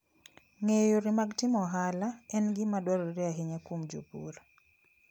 Ng'eyo yore mag timo ohala en gima dwarore ahinya kuom jopur.